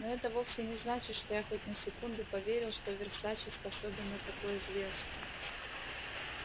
но это вовсе не значит что я хоть на секунду поверил что версаче способен на такое зверство